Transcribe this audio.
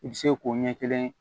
I bɛ se k'o ɲɛ kelen